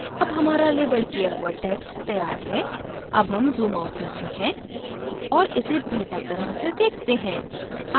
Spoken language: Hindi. अब हमारा let किया हुआ text तैयार है अब हम zoom out करते हैं और इसे बेहतर तरह से देखते हैं